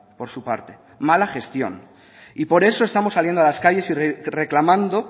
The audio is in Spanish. por su parte mala gestión y por eso estamos saliendo a las calles y reclamando